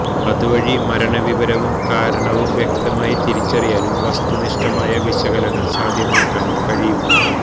അതുവഴി മരണവിവരവും കാരണവും വ്യക്തമായി തിരിച്ചറിയാനും വസ്തുനിഷ്ഠമായ വിശകലനം സാധ്യമാക്കാനും കഴിയും